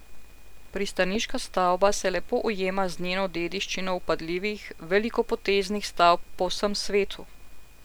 Pristaniška stavba se lepo ujema z njeno dediščino vpadljivih, velikopoteznih stavb po vsem svetu.